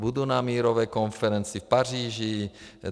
Budu na mírové konferenci v Paříži.